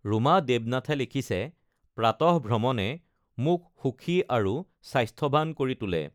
ৰুমা দেৱনাথে লিখিছে প্ৰাতঃভ্ৰমণে মোক সুখী আৰু স্বাস্থ্যৱান কৰি তোলে।